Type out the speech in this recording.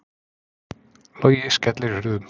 Logi skellir hurðum